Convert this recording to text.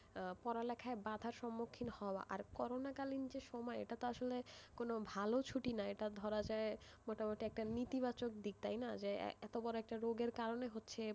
পড়া লেখায় বাধার সম্মুখীন হওয়া আর কোন করোণা কালীন যে সময়ে এটা তো আসলে কোনো ভালো ছুটি না এটা ধরা যায় মোটামুটি একটা নেতি বাচক দিক তাই না যে এত বড় একটা রোগের কারণে,